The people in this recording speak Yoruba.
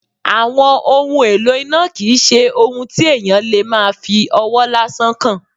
Àwọn ohun èlò iná kì í ṣe ohun tí èèyàn lè máa fí ọwọ́ lásán kan